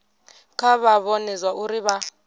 kha vha vhone zwauri vha